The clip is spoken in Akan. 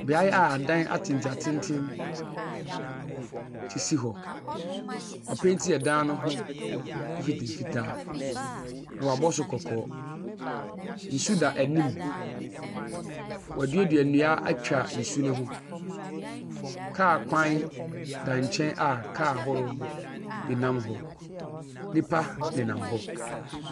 Beae a adan atenten atenten sisi hɔ. Wɔapenti ɛdan no ho mfitaa mfitaa. Na wɔabɔ so kɔɔ. Nsu da anim. Wɔadua nnua atwa nsu no ho. Car kwan da nkyɛn a car ahorow bi nam hɔ. Nnipa nenam hɔ.